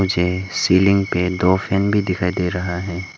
Ceiling पे दो fan भी दिखायी दे रहा है।